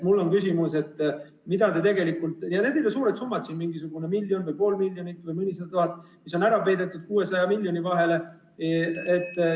Need ei ole suured summad, mingisugune miljon või pool miljonit või mõnisada tuhat on 600 miljoni vahele ära peidetud.